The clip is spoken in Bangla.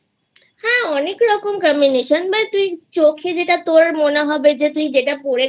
হ্যা অনেক রকম combination চোখে যেটা তোর মনে হবে যে টা পরে